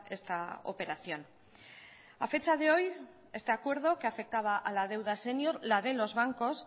esta operación a fecha de hoy este acuerdo que afectaba a la deuda sénior la de los bancos